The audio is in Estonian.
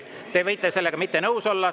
Te võite sellega mitte nõus olla.